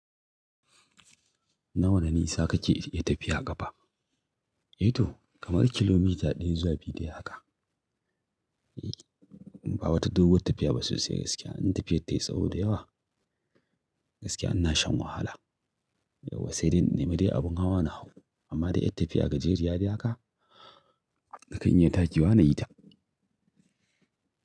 Na wane nisa kake yi tafiya ƙafa? Ito kamar kilomita ɗaya zuwa biyu dai haka. Ba wata doguwar tafiya ba sosai gaskiya. In tafiyar tayi tsawo da yawa gaskiya ina shan wahala. Yauwa sai dai in nemi dai abin hawa na hau amma da ƴar tafiya gajeriya dai haka, nakan iya takewa nayi ta.